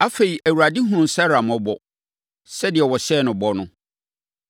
Afei, Awurade hunuu Sara mmɔbɔ, sɛdeɛ ɔhyɛɛ no bɔ no.